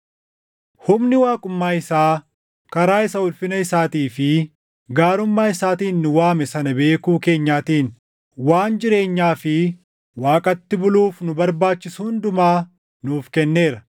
Humni waaqummaa isaa karaa isa ulfina isaatii fi gaarummaa isaatiin nu waame sana beekuu keenyaatiin waan jireenyaa fi Waaqatti buluuf nu barbaachisu hundumaa nuuf kenneera.